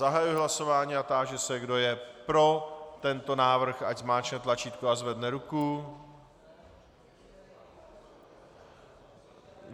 Zahajuji hlasování a táži se, kdo je pro tento návrh, ať zmáčkne tlačítko a zvedne ruku.